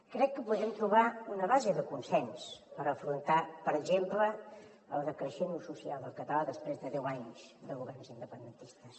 crec que podem trobar una base de consens per afrontar per exemple el decreixent ús social del català després de deu anys de governs independentistes